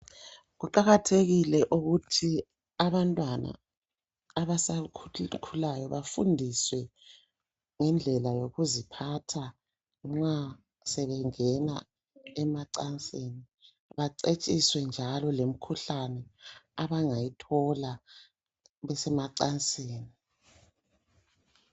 Kuqakathekile ukuthi abantwana abasakhulayo bafundiswe ngendlela yokuziphatha nxa sebengena emacansini. Bacetshiswe njalo lemkhuhlane abangayithola besemacansini.